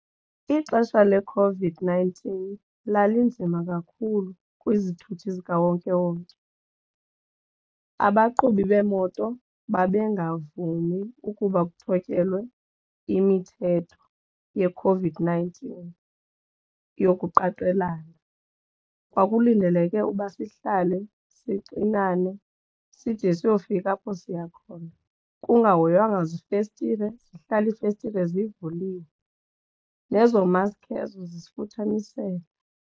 Ixesha leCOVID-nineteen lalinzima kakhulu kwizithuthi zikawonkewonke. Abaqhubi beemoto babengavumi ukuba kuthotyelwe imithetho yeCOVID-nineteen yokuqaqelana kwaye. Kwakulindeleke uba sihlale sixinane side siyofika apho siya khona kukungahoywanga zifestile sihlale iifestire zivuliwe nezo maski ezo zisifuthamisele.